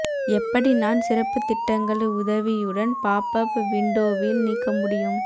எப்படி நான் சிறப்பு திட்டங்கள் உதவியுடன் பாப் அப் விண்டோவில் நீக்க முடியும்